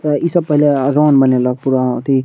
त इ सब पेहले अगान बनेला पूरा अथी --